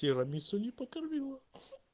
тирамису не покормила